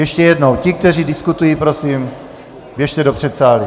Ještě jednou, ti, kteří diskutují, prosím, běžte do předsálí.